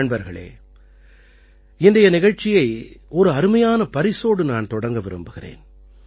நண்பர்களே இன்றைய நிகழ்ச்சியை ஒரு அருமையான பரிசோடு நான் தொடங்க விரும்புகிறேன்